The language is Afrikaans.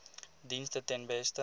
dienste ten beste